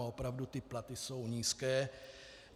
A opravdu ty platy jsou nízké.